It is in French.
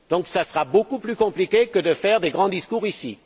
Cela sera beaucoup plus compliqué que de faire de grands discours ici.